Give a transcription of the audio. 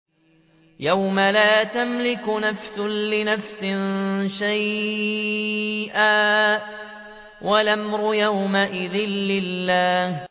يَوْمَ لَا تَمْلِكُ نَفْسٌ لِّنَفْسٍ شَيْئًا ۖ وَالْأَمْرُ يَوْمَئِذٍ لِّلَّهِ